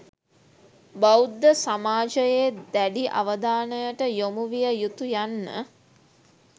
බෞද්ධ සමාජයේ දැඩි අවධානයට යොමු විය යුතු යන්න